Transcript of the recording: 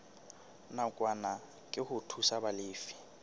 nakwana ke ho thusa balefi